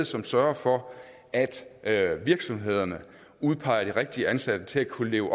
som sørger for at at virksomhederne udpeger de rigtige ansatte til at kunne leve